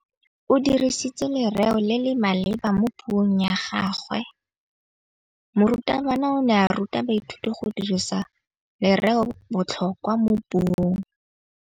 O dirisitse lerêo le le maleba mo puông ya gagwe. Morutabana o ne a ruta baithuti go dirisa lêrêôbotlhôkwa mo puong.